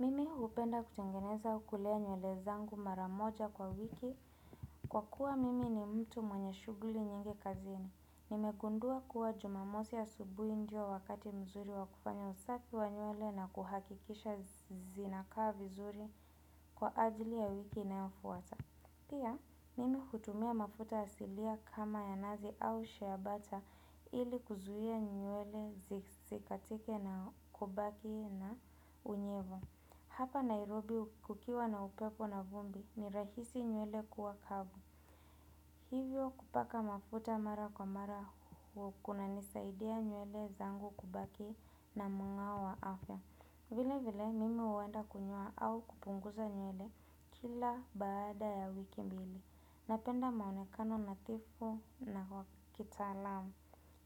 Mimi hupenda kutengeneza au kulea nyuele zangu maramoja kwa wiki kwa kuwa mimi ni mtu mwenye shuguli nyingi kazini. Nimegundua kuwa jumamosi ya asubuhi ndio wakati mzuri wakufanya usafi wa nyuele na kuhakikisha zinakaa vizuri kwa ajili ya wiki inayofuata. Pia, mimi hutumia mafuta asilia kama ya nazi au sheabata ili kuzuhia nyuele zikatike na kubaki na unyevu. Hapa Nairobi kukiwa na upepo na vumbi ni rahisi nyuele kuwa kavu. Hivyo kupaka mafuta mara kwa mara kunanisaidia nyuele zangu kubaki na mung'awo wa afya. Vile vile mimi uwenda kunyoa au kupunguza nyuele kila baada ya wiki mbili. Napenda maonekano natifu na kitalamu.